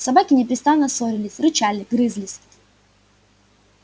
собаки непрестанно ссорились рычали грызлись